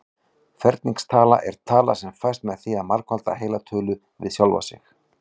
Ferningstala er tala sem fæst með því að margfalda heila tölu við sjálfa sig.